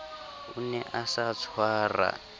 o ne a sa tshwara